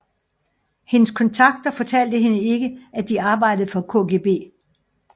Hendes kontakter fortalte hende ikke at de arbejdede for KGB